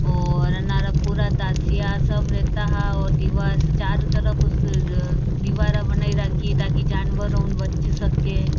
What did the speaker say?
और अनारा पूरा दासिया सब रहता हा और दिवार से चार तरफ उस दिवारा बनाई राकी ताकि जानवरो से बच सके।